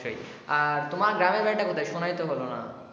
তোমার গ্রামের বাড়ি টা কোথায় শোনাই তো হলো না।